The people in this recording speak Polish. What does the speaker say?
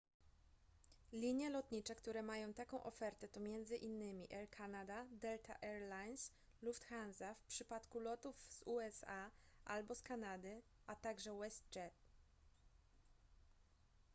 linie lotnicze które mają taką ofertę to m.in air canada delta air lines lufthansa w przypadku lotów z usa albo z kanady a także westjet